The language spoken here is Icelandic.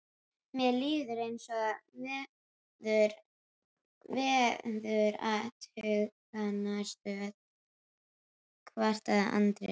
Mér líður eins og í veðurathugunarstöð, kvartaði Andri.